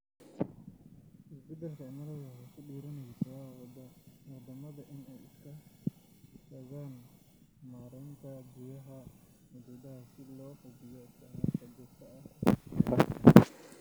Isbeddelka cimiladu waxay ku dhiirigelinaysaa waddammada inay iska kaashadaan maaraynta biyaha xuduudaha si loo hubiyo isticmaalka joogtada ah ee kheyraadka.